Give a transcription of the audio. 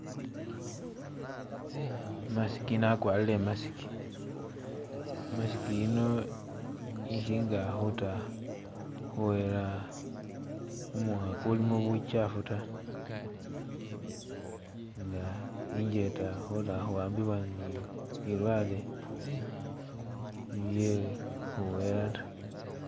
I'mask uno akwarire I'mask, imask yino ikhinga khuta khuwela kumukha ukulimo buchafu taa nga injeta khutakhuwambibwa nk bilwale bye khuwela taa.